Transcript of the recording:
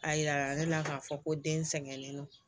A yira ne la k'a fɔ ko den sɛgɛnnen don